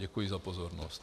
Děkuji za pozornost.